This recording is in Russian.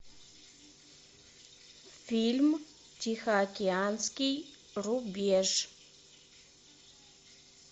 фильм тихоокеанский рубеж